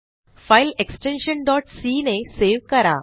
file extension c ने save करा